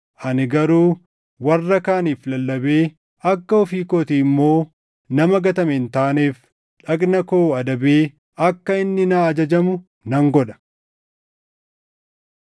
Ani garuu warra kaaniif lallabee akka ofii kootii immoo nama gatame hin taaneef dhagna koo adabee akka inni naa ajajamu nan godha.